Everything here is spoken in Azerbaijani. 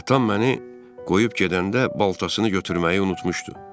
Atam məni qoyub gedəndə baltasını götürməyi unutmuşdu.